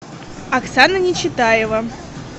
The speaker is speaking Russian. оксана нечитаева